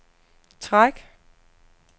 træk